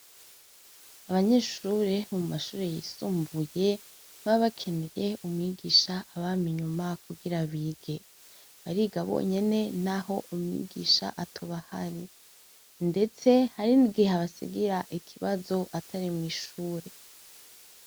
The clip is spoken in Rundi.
Abanyeshure bo mumashure yisumbuye ntibaba bakeneye umwigisha abama inyuma kugira bige , bariga bonyene naho umwigisha atoba ahari , ndetse hari n'igihe abasigira ikibazo atari mwishure